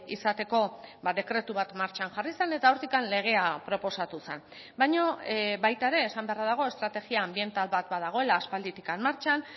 izateko dekretu bat martxan jarri zen eta hortik legea proposatu zen baina baita ere esan beharra dago estrategia ambiental bat badagoela aspalditik martxan